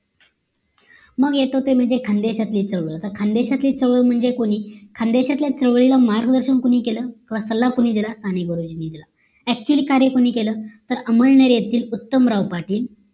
मग येतो आता खांडेकर ची चौळ खान्देशातील चौल म्हणजे कोणी खानदेशातल्या चोळीला मार्गदर्शन कोणी केलं किंवा सल्ला कोणी दिला साने गुरुजींनी दिला actually कार्य कोणी केलं अमळनेर येथील उत्तमराव पाटील